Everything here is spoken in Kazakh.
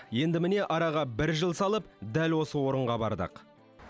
енді міне араға бір жыл салып дәл осы орынға бардық